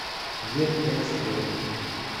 ветэксперт